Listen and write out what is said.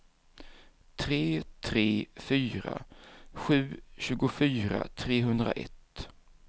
tre tre fyra sju tjugofyra trehundraett